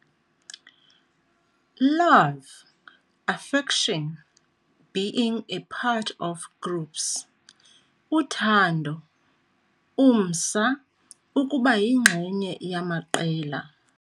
Love, affection, being a part of groups. Uthando, umsa, ukuba yingxenye yamaqela.